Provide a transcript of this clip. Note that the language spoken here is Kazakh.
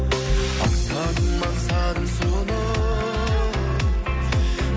аңсадым аңсадым соны